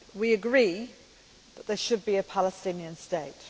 We agree that there should be a Palestinian state.